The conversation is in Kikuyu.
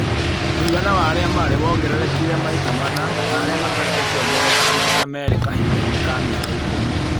Mũigana wa arĩa marĩ wongererekire maita mana na arĩa matarĩ ũkĩongerereka na maita merĩ kahinda inĩ ka mĩaka ikũmi